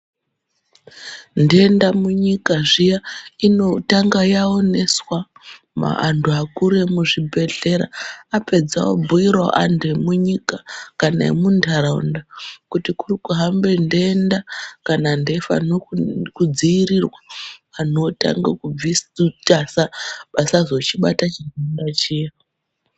Nhenda munyika zviya inotanga yaoneswa antu akuru vemuzvibhedhlera apedza obhuirawo antu emunyika kana emundaraunda kuti kuri kuhamba nhenda kana ndefa nokudzirirwa kuti asazochibata chidenda chiya.